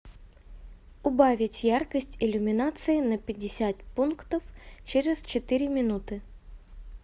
убавить яркость иллюминации на пятьдесят пунктов через четыре минуты